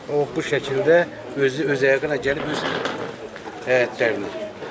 Bu şəkildə özü öz ayağı ilə gəlib öz həyətlərinə.